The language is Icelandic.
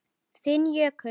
Þinn Jökull.